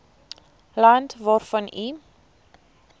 land waarvan u